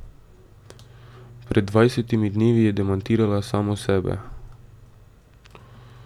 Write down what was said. Pred dvajsetimi dnevi je demantirala samo sebe.